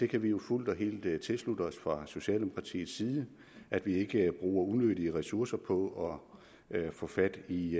kan jo fuldt og helt tilslutte os fra socialdemokratiets side at vi ikke bruger unødige ressourcer på at få fat i